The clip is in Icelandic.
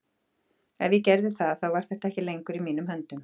Ef ég gerði það þá var þetta ekki lengur í mínum höndum.